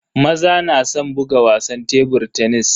Maza na san buga wasan tebur tenis.